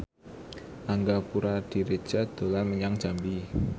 Angga Puradiredja dolan menyang Jambi